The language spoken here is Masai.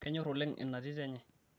kenyor oleng ina tito enye